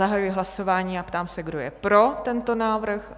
Zahajuji hlasování a ptám se, kdo je pro tento návrh?